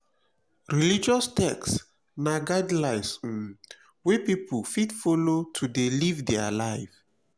religious text na guidelines um wey pipo fit follow to de live their live